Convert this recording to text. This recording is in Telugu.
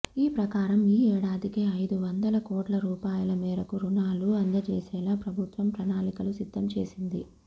ఈ ప్రకారం ఈ ఏడాదికి ఐదు వందల కోట్ల రూపాయల మేరకు రుణాలు అందజేసేలా ప్రభుత్వం ప్రణాళికలు సిద్ధం చేసింది